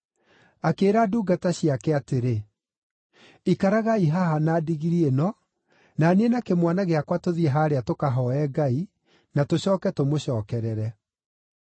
Akĩĩra ndungata ciake atĩrĩ, “Ikaragai haha na ndigiri ĩno, na niĩ na kĩmwana gĩakwa tũthiĩ haarĩa tũkahooe Ngai, na tũcooke tũmũcookerere.”